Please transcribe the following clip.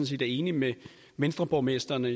set er enig med venstreborgmestrene